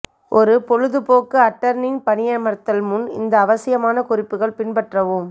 ஒரு பொழுதுபோக்கு அட்டர்னி பணியமர்த்தல் முன் இந்த அவசியமான குறிப்புகள் பின்பற்றவும்